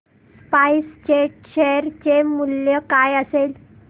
spice jet share चे मूल्य काय असेल